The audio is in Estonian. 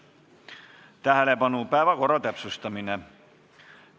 Tähelepanu, päevakorra täpsustamine!